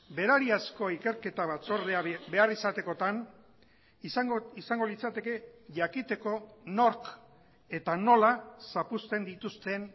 berariazko ikerketa batzordea behar izatekotan izango litzateke jakiteko nork eta nola zapuzteen dituzten